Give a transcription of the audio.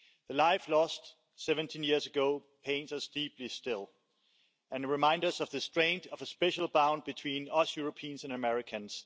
The life lost 17 years ago pains us deeply still and reminds us of the strength of a special bond between us Europeans and Americans.